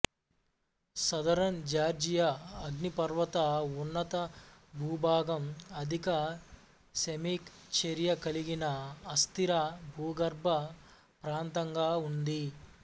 southern Georgia అగ్నిపర్వత ఉన్నతభూభాగం అధిక సేమిక్ చర్య కలిగిన అస్థిర భూగర్భ ప్రాంతంగా ఉంది